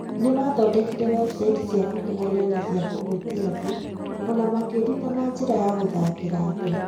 Nĩmathondekire webusaiti cia kũgegania na cia kũhutia andũ, o na makĩĩruta na njĩra ya gũthakĩra andũ.